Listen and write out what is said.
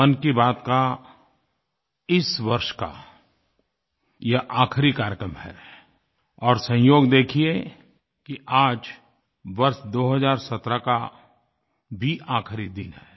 मन की बात का इस वर्ष का यह आख़िरी कार्यक्रम है और संयोग देखिए कि आज वर्ष 2017 का भी आख़िरी दिन है